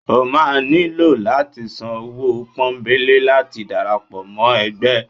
o ma niló lati sán ọwọ pọnbẹlé láti darapọ mọ ẹgbẹ